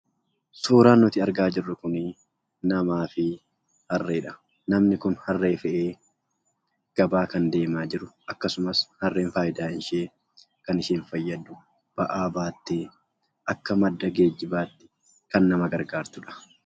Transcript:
Suuraan nuti argaa jirru kunii, namaa fi harreedha. Namni kun harree fe'ee gabaa kan deemaa jiru akkasumas harreen fayidaan ishee kan isheen fayyaddu ba'aa baattee akka madda geejibaatti kan nama gargaartudha.